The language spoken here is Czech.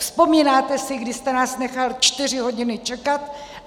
Vzpomínáte si, kdy jste nás nechal čtyři hodiny čekat?